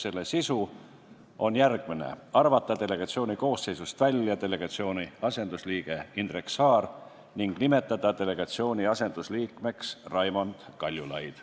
Selle sisu on järgmine: arvata delegatsiooni koosseisust välja delegatsiooni asendusliige Indrek Saar ning nimetada delegatsiooni asendusliikmeks Raimond Kaljulaid.